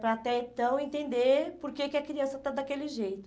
Para até então entender por que que a criança está daquele jeito.